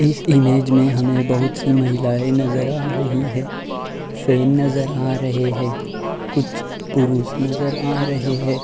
इस इमेज में हमे बहोत सी महिलाये नजर आ रही हैं। फेन नजर आ रहे हैं। कुछ पुरुष नजर आ रहे हैं।